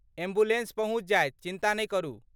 Ambulance पहुँचि जायत, चिन्ता नहि करू।